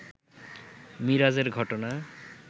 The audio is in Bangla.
মিরাজের ঘটনা